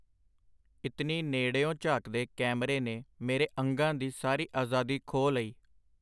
ਇਤਨੀ ਨੇੜਿਓਂ ਝਾਕਦੇ ਕੈਮਰੇ ਨੇ ਮੇਰੇ ਅੰਗਾਂ ਦੀ ਸਾਰੀ ਆਜ਼ਾਦੀ ਖੋਹ ਲਈ.